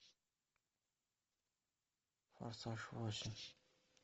форсаж восемь